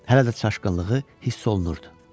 Hələ də çaşqınlığı hiss olunurdu.